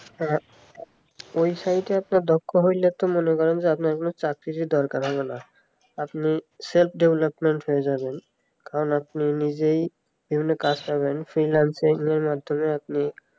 website একটা দক্ষ হলো কি মনে করেন যে আপনার কোনো যদি চাকরী দরকার হবে না আপনি self development হয়ে যাবেন কারণ আপনি নিজেই বিভিন্ন কাজ পাবেন freelancing এর মাধ্যমেই আপনি